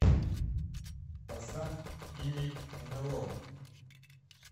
поставь иней нло